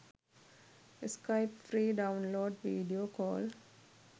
skype free download video call